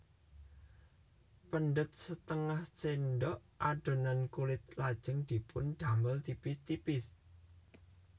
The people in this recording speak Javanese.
Pendhet setengah cendhok adonan kulit lajeng dipun damel tipis tipis